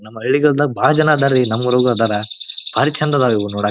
ನಮ್ ಹಳ್ಳಿಗಳಲ್ಲಿ ಬಹಳ ಜನ ಅದರಿ ನಮ್ ಊರಾಗೂ ಅದರ ಬಾರಿ ಚೆಂದ ಅದರ ಇವು ನೋಡಾಕ